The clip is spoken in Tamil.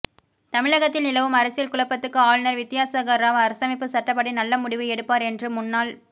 தமிழகத்தில் நிலவும் அரசியல் குழப்பத்துக்கு ஆளுநர் வித்யாசாகர் ராவ் அரசமைப்புச் சட்டப்படி நல்ல முடிவு எடுப்பார் என்று முன்னாள்